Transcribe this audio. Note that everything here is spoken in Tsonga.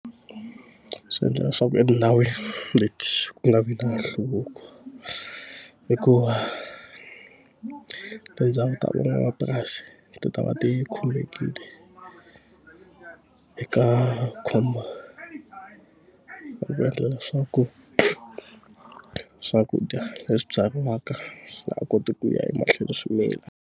Swi endla leswaku etindhawini leti ku nga vi na nhluvuko hikuva tindhawu ta van'wamapurasi ti ta va ti khululekile eka khombo ra ku endlela leswaku swakudya leswi byariwaka swi nga ha koti ku ya emahlweni swi mila.